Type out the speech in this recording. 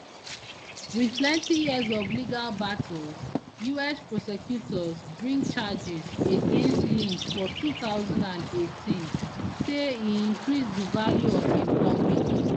wit plenti years of legal battles us prosecutors bring charges against lynch for two thousand and eighteen say e increase di value of im company